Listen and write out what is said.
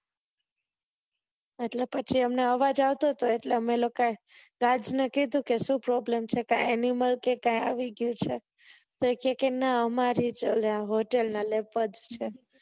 એટલે પછી અમને આવાજ આવતો હતો એટલે અમે લોકો એ Guard ને કીધું કે શું Problem છે. Animal કે કઈ આયી ગયું છે તો એ કેહ કે નાં અમારે hotel ના leopards છે